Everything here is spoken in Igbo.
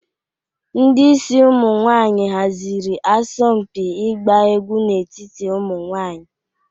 Ndị isi ụmụ nwanyị haziri asọmpi ịgba egwu n'etiti ụmụ nwanyị.